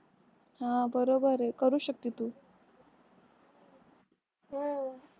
हां बरोबर आहे करू शकते तू हो.